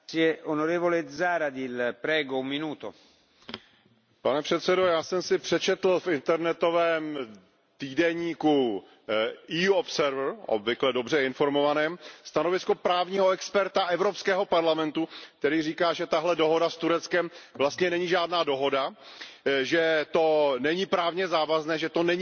Pane předsedající, já jsem si přečetl v internetovém týdeníku EUobserver, obvykle dobře informovaném, stanovisko právního experta Evropského parlamentu, který říká, že tato dohoda s Tureckem vlastně není žádná dohoda, že to není právně závazné, že to není právně vymahatelné a že je to jenom taková politická deklarace.